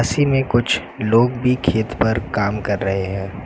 इसीमें कुछ लोग भी खेत पर काम कर रहे हैं।